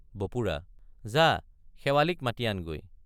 বপুৰা—যা শেৱালিক মাতি আনগৈ।